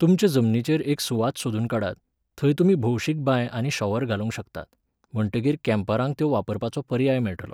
तुमचे जमनीचेर एक सुवात सोदून काडात, थंय तुमी भौशीक बांय आनी शॉवर घालूंक शकतात, म्हणटकीर कॅम्परांक त्यो वापरपाचो पर्याय मेळटलो.